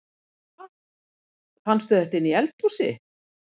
Ha! Fannstu þetta inni í eldhúsi?